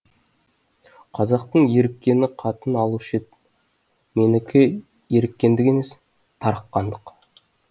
қазақтың еріккені қатын алушы еді менікі еріккендік емес тарыққандық